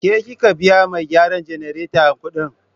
Ke kika biya mai gyaran jannareta kudi?